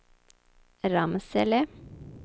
Ramsele